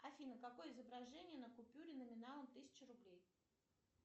афина какое изображение на купюре номиналом тысяча рублей